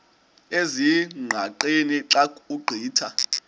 ezingqaqeni xa ugqitha